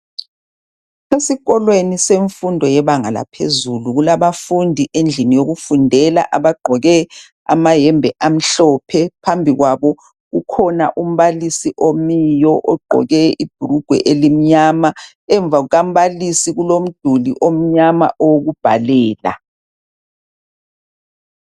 Esikolweni semfundo yebanga laphezulu, kulabafundi endlini yokufundela abagqoke amayembe amhlophe, phambi kwabo kukhona umbalisi omiyo ogqoke ibrugwe elimnyama. Emva kuka mbalisi kulomduli omnyama owoku bhalela.